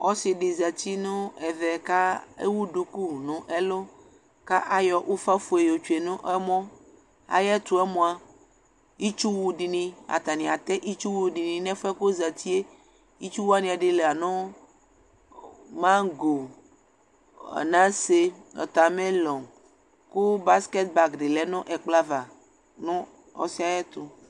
Ɔsɩ dɩ zati nʋ ɛvɛ ka ewu duku nʋ ɛlʋ, kʋ ayɔ ʋfa fue yɔtsue nʋ ɛmɔ, ayʋ ɛtʋ yɛ mʋa, itsuwʋ dɩnɩ, atanɩ atɛ itsuwʋ dɩnɩ nʋ ɛfʋ yɛ kʋ ɔzati yɛ, itsu wanɩ ɛdɩ la nʋ mago, anase, ɔta melɔ kʋ baskɛt bag dɩ lɛ nʋ ɛkplɔ va nʋ ɔsɩ yɛ ɛtʋ